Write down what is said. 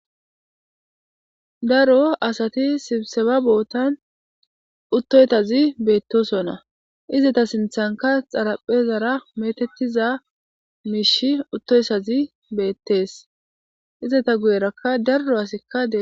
Daaro assati sibbisebba boottan uttotazi bettossona izzeta sinththenika xaraphezara mettetiza mishshey uttoyssazika bettes izzeta guyeraka daaro asay desi.